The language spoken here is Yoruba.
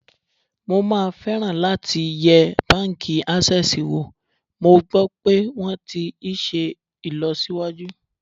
Mo máa fẹ́ràn láti yẹ báńkì Ásẹ́sìì wò, mo gbọ́ pé wón ti iṣẹ́ ìlọsíwájú.